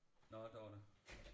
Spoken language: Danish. Nåh Dorthe